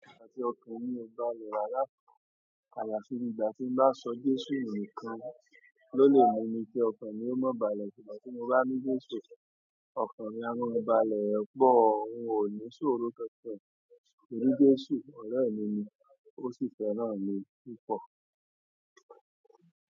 Àti ọkàn mí ó bále ràra ayafi ìgbà tí n bá sọ Jésù nu nìkan ló lè mú mi kí ọkàn mí ó má balẹ̀. Ìgbà tí mo bá ní Jésù, ọkàn mi a maa balẹ̀ pọ́, un ò ní ṣòro kankan, torí Jésù ọre mi ní, ó sì fẹ́ràn mi púpọ̀.